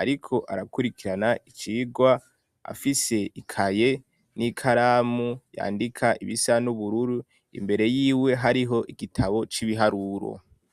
ariko arakurikirana icigwa afise ikaye n'ikaramu yandika ibisa n'ubururu, imbere yiwe hariho igitabo c'ibiharuro.